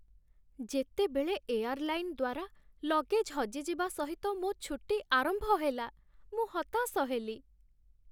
ଯେତେବେଳେ ଏୟାର୍‌ଲାଇନ୍ ଦ୍ୱାରା ଲଗେଜ୍ ହଜିଯିବା ସହିତ ମୋ ଛୁଟି ଆରମ୍ଭ ହେଲା, ମୁଁ ହତାଶ ହେଲି।